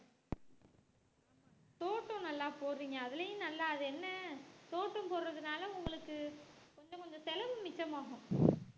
தோட்டம் நல்லா போடுறீங்க அதுலயும் நல்லா அது என்ன தோட்டம் போடுறதுனால உங்களுக்கு கொஞ்சம் கொஞ்சம் செலவு மிச்சமாகும்